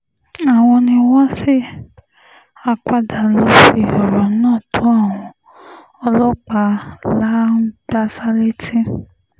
àwọn ni wọ́n ṣí apádà lọ́ọ́ fi ọ̀rọ̀ náà tó àwọn ọlọ́pàá langbasa létí